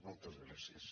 moltes gràcies